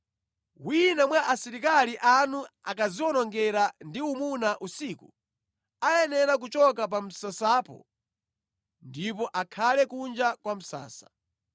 Wina mwa asilikali anu akadziwonongera ndi umuna usiku, ayenera kuchoka pa msasapo ndipo akhale kunja kwa msasa.